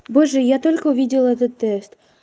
боже я только увидела этот тест